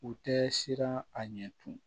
U tɛ siran a ɲɛ tugun